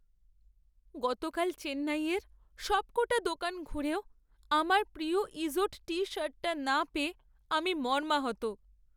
গতকাল চেন্নাইয়ের সবকটা দোকান ঘুরেও আমার প্রিয় ইজোড টি শার্টটা না পেয়ে আমি মর্মাহত।